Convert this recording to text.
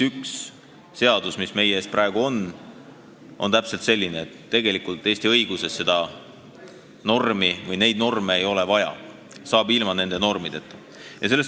See seadus, mis meie ees praegu on, on täpselt selline, et tegelikult Eesti õiguses neid norme vaja ei ole, saab ilma nende normideta.